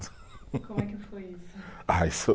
Como é que foi isso? Ah, isso